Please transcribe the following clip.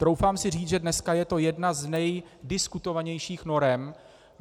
Troufám si říct, že dneska je to jedna z nejdiskutovanějších norem.